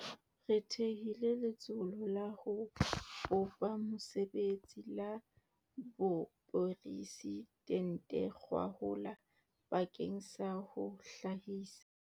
Re thehile Letsholo la ho Bopa Mesebetsi la Boporesi dente gwahola bakeng sa ho hlahisa.